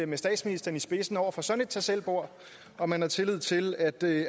med statsministeren i spidsen over for sådan et tag selv bord om man har tillid til at det